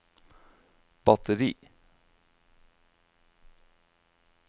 batteri